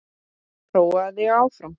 Prófaðu þig áfram!